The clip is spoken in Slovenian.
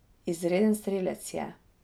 Izreden strelec je.